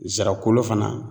Nsara kolo fana.